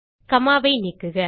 gamma ஐ நீக்குக